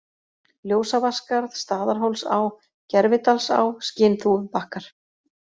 Ljósavatnsskarð, Staðarhólsá, Gervidalsá, Skinþúfubakkar